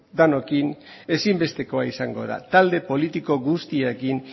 denokin ezinbestekoa izango da talde politiko guztiekin